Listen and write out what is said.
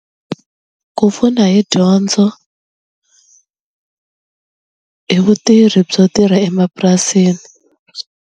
Ku pfuna hi dyondzo hi vutirhi byo tirha emapurasini.